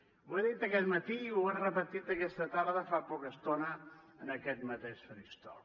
ho ha dit aquest matí i ho ha repetit aquesta tarda fa poca estona en aquest mateix faristol